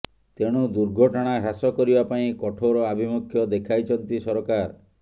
ତେଣୁ ଦୁର୍ଘଟଣା ହ୍ରାସ କରିବା ପାଇଁ କଠୋର ଆଭିମୁଖ୍ୟ ଦେଖାଇଛନ୍ତି ସରକାର